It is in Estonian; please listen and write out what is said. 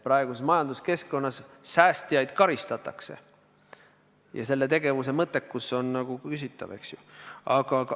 Praeguses majanduskeskkonnas säästjaid karistatakse ja selle tegevuse mõttekus on küsitav, eks ole.